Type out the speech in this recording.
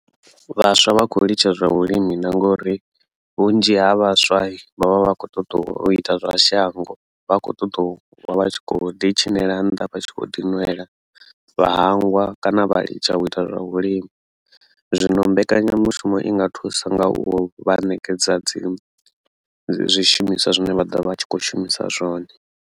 Vhaswa vha khou litsha zwa vhulimi na ngori vhunzhi ha vhaswa vha vha vha kho ṱoḓa u ita zwa shango vha vha vha kho ṱoḓa u vha vha tshi kho ḓi tshinela nnḓa vha tshi kho ḓi nwela vhahangwa kana vha litsha u ita zwa vhulimi zwino mbekanyamushumo i nga thusa nga u vha ṋekedza dzi zwishumiswa zwine vha ḓovha vha tshi kho shumisa zwone.